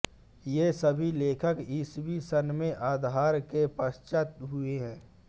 ये सभी लेखक ईसवी सन् के आरंभ के पश्चात् हुए हैं